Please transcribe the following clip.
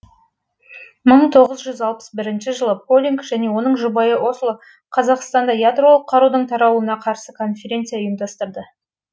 бір мың тоғыз жүз алпыс бірінші жылы полинг және оның жұбайы осло қазақстанда ядролық қарудың таралуына қарсы конференция ұйымдастырды